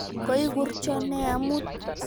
Koikurcho nee amut?